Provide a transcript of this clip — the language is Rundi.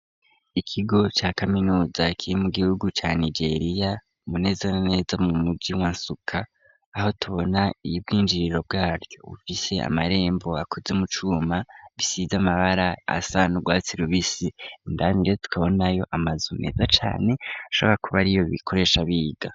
Ikigo ca kaminuza kiri mu gihugu ca Nigeria neza na neza mu muji wa Nsuka, aho tubona ubwinjiriro bwaryo bufise amarembo akoze mucuma, bisize amabara asa nurwatsi rubisi, indanire tukabonayo amazu meza cane ashobora kuba ariyo bakoresha mu kwiga.